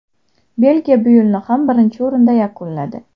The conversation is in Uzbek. Belgiya bu yilni ham birinchi o‘rinda yakunladi.